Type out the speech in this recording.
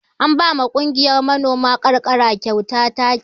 An ba ma kungiyar manoman ƙarƙara kyautar taki.